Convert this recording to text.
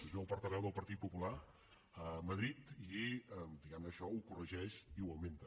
es veu portaveu del partit popular a madrid i diguem ne això ho corregeix i ho augmenta